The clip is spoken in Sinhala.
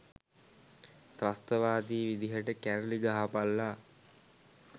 ත්‍රස්තවාදී විදිහට කැරලි ගහපල්ල.